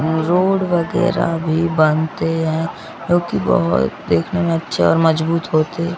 road वगैरा भी बनते हैं जो कि बहुत दिखने में अच्छे और मजबूत होते--